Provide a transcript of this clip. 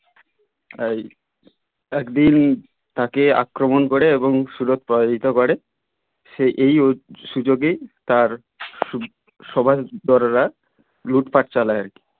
এই একদিন তাকে আক্রমণ করে এবং সুরৎ পরাজিত করে সে এই সুযোগেই তার সবার বড়োরা লুটপাট চালায় আর কি